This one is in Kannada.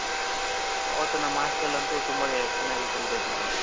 ಅವತ್ತ್ ನಮ್ಮ hostel ಅಲ್ಲಂತು ತುಂಬಾ ಚೆನ್ನಾಗಿ celebrate ಮಾಡಿದ್ರು .